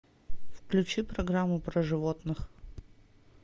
включи программу про животных